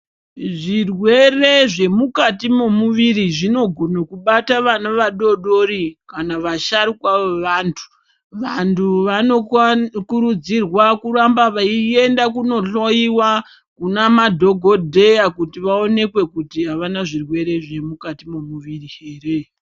Zvirwere zvemukati memuviri zvinogone bata vana vadodori kana vasharukwa vevantu vantu vanokurudzirwa kuramba veienda kunohloiwa kuna madhokodheya kuti vaonekwe havana zvirwere zvemukati memuviri here.